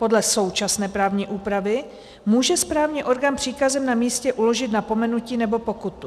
Podle současné právní úpravy může správní orgán příkazem na místě uložit napomenutí nebo pokutu.